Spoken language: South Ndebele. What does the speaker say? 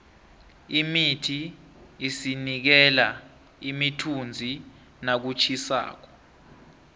imithi isinikela imithunzi nakutjhisako